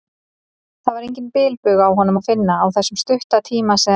Það var engan bilbug á honum að finna, á þessum stutta tíma sem